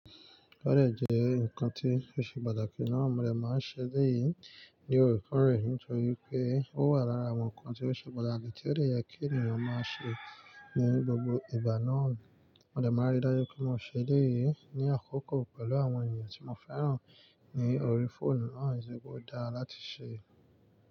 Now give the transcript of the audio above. Ọ̀ dẹ́ jẹ́ ǹkan tí ò ṣe pàtàkì náà, mo dẹ̀ máa ń ṣe eléyìí ní oorekoọrẹ̀ nítorí pé ó wà lára àwọn ǹkan tí ó ṣe pàtàkì tí ó de yẹ kí ènìyàn máa ṣe ní gbogbo ìgbà náà. Mo dẹ̀ máa n rí dájú pé mo ṣe eléyìí ní àkókò pẹ̀lú àwọn ènìyàn tí mo fẹ́ràn ní orí fóònù náà nitoripe ó dá láti ṣe.